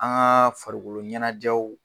An kaaa farikolo ɲɛnajɛw.